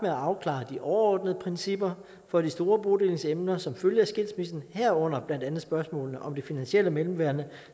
at afklare de overordnede principper for de store bodelingsemner som følge af skilsmissen herunder blandt andet spørgsmålene om det finansielle mellemværende